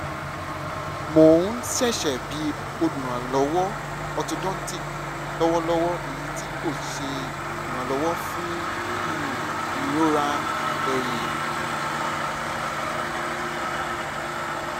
mo n ṣiṣẹ bi oluranlọwọ orthodontic lọwọlọwọ eyiti ko ṣe iranlọwọ fun um irora ẹhin